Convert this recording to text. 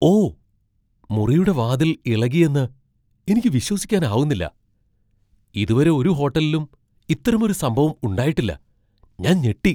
ഓ, മുറിയുടെ വാതിൽ ഇളകിയെന്ന് എനിക്ക് വിശ്വസിക്കാനാവുന്നില്ല! ഇതുവരെ ഒരു ഹോട്ടലിലും ഇത്തരമൊരു സംഭവം ഉണ്ടായിട്ടില്ല. ഞാൻ ഞെട്ടി!